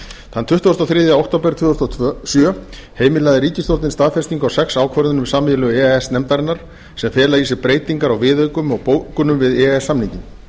þann tuttugasta og þriðja október tvö þúsund og sjö heimilaði ríkisstjórnin staðfestingu á sex ákvörðunum sameiginlegu e e s nefndarinnar sem fela í sér breytingar á viðaukum og bókunum við e e s samninginn